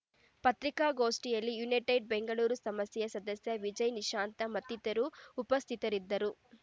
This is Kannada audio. ಪತ್ರಿಕಾಗೋಷ್ಠಿಯಲ್ಲಿ ಯುನೈಟೆಡ್‌ ಬೆಂಗಳೂರು ಸಮಸ್ಯೆ ಸದಸ್ಯ ವಿಜಯ್‌ ನಿಶಾಂತ ಮತ್ತಿತರರು ಉಪಸ್ಥಿತರಿದ್ದರು